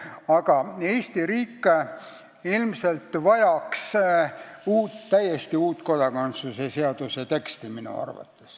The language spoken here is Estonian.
Aga minu arvates vajaks Eesti riik ilmselt täiesti uut kodakondsuse seaduse teksti.